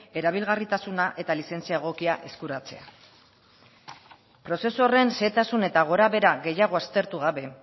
erabilgarritasuna eta lizentzia egokia eskuratzea prozesu horren xehetasun eta gorabehera gehiago aztertu gabe